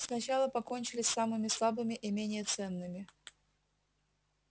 сначала покончили с самыми слабыми и менее ценными